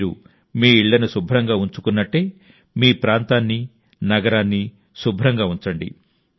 మీరు మీ ఇళ్లను శుభ్రంగా ఉంచుకున్నట్టే మీ ప్రాంతాన్ని నగరాన్ని శుభ్రంగా ఉంచండి